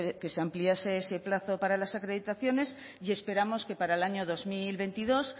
que se ampliase ese plazo para las acreditaciones y esperamos que para el año dos mil veintidós